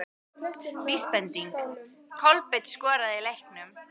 Vísbending: Kolbeinn skoraði í leiknum?